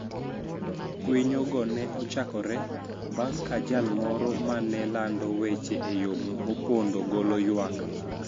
Kwinyo go ne ochakore bang ' ka jal moro ma ne lando weche e yo mopondo golo ywak